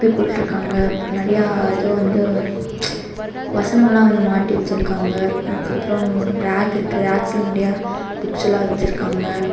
தொப்பி போட்டுருக்காங்க நெறையா இது வந்து வசனம்லா வந்து மாட்டி வெச்சிருக்காங்க அதுகப்ரோ ரேக் இருக்கு ரேக்ஸ்ல நெறைய புக்ஸ்செல்லா வெச்சிருக்காங்க.